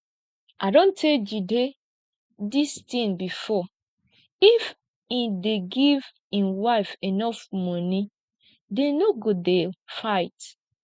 i don tell jide dis thing before if im dey give im wife enough money dem no go dey fight